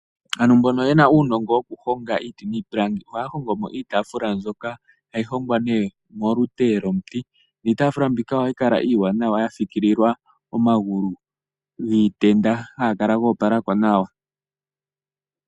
Ano mbono yena uunongo woku honga iiti niipilangi, ohaya hongo mo iitaafula mbyoka hayi hongwa ne mo lute lwomuti, niitaafula mbika ohayi kala iiwanawa ya fikililwa omagulu giitenda haga kala goopalako nawa.